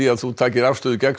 að þú takir afstöðu gegn